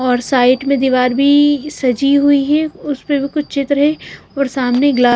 और साइड में दीवार भी सजी हुई है उस पे भी कुछ चित्र है और सामने ग्लास --